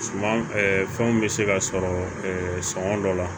Suman fɛnw bɛ se ka sɔrɔ dɔ la